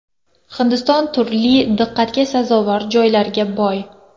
Hindiston turli diqqatga sazovor joylarga boy.